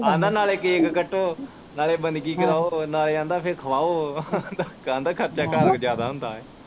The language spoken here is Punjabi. ਆਂਦਾ ਨਾਲੇ ਕੈਕ ਕੱਟੋ ਨਾਲੇ ਬੰਦਗੀ ਕਰਾਓ ਨਾਲੇ ਆਂਦਾ ਅਹੇ ਖਵਾਓ ਆਂਦਾ ਖਰਚਾ ਘਰ ਸਗੋਂ ਜਿਆਦਾ ਹੁੰਦਾ ਏ।